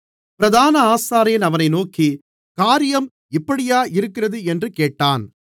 பிரதான ஆசாரியன் அவனை நோக்கி காரியம் இப்படியா இருக்கிறது என்று கேட்டான்